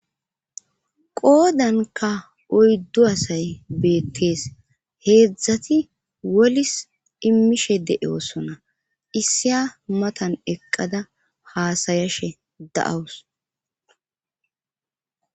qoodanka oyddu asay beettees heedzdzati wolis immishe de7osona issiya matan eqqada haasayashe da7awus